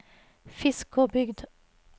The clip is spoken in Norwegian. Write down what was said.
Fiskåbygd